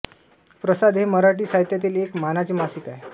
प्रसाद हे मराठी साहित्यातील एक मानाचे मासिक आहे